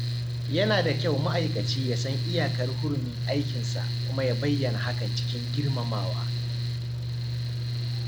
Yana da kyau ma’aikaci ya san iyakar hurumin aikinsa kuma ya bayyana hakan cikin girmamawa.